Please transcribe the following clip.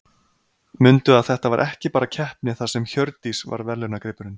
Mundu að þetta var ekki bara keppni þar sem Hjördís var verðlaunagripurinn.